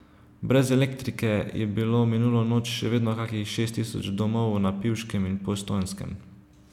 Brez elektrike je bilo minulo noč še vedno kakih šest tisoč domov na Pivškem in Postojnskem.